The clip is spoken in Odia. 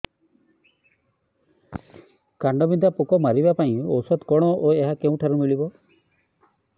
କାଣ୍ଡବିନ୍ଧା ପୋକ ମାରିବା ପାଇଁ ଔଷଧ କଣ ଓ ଏହା କେଉଁଠାରୁ ମିଳିବ